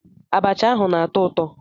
Abacha ahu o na-atọ ụtọ?